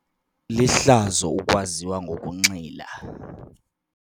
Lihlazo ukwaziwa ngokunxila.